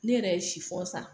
Ne yɛrɛ ye san